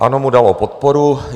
ANO mu dalo podporu.